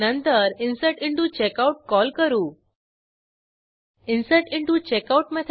जर available copies बरोबर 0असेल तर there are no copies of the requested book available असे दाखवू